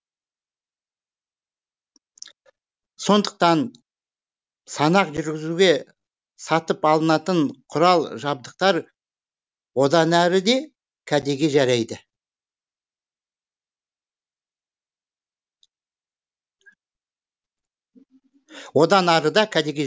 сондықтан санақ жүргізуге сатып алынатын құрал жабдықтар одан ары да кәдеге жарайды